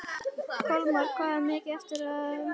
Kolmar, hvað er mikið eftir af niðurteljaranum?